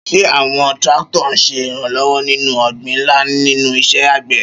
Ṣé àwọn tractors ń ṣe ìrànlọ́wọ́ nínú ọgbìn ńlá nínú iṣẹ́ àgbẹ̀?